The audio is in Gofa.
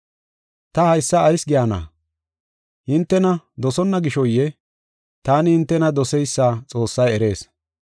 Ta haysa ayis gayna? Hintena dosonna gishoyee? Taani hintena doseysa Xoossay erees.